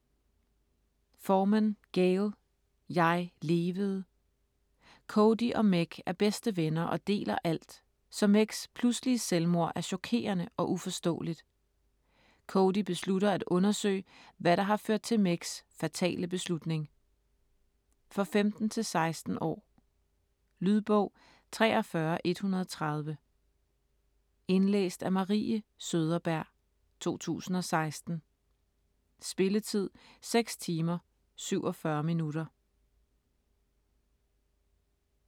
Forman, Gayle: Jeg levede Cody og Meg er bedste venner og deler alt, så Megs pludselige selvmord er chokerende og uforståeligt. Cody beslutter at undersøge, hvad der har ført til Megs fatale beslutning. For 15-16 år. Lydbog 43130 Indlæst af Marie Søderberg, 2016. Spilletid: 6 timer, 47 minutter.